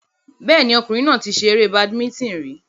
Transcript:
Bẹ́ẹ̀ni, ọkùnrin náà ti ṣe eré badimítìn rí